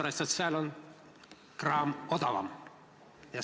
Aga sellepärast, et seal on kraam odavam.